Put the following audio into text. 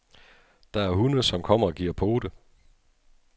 Der er hunde, som kommer og giver pote.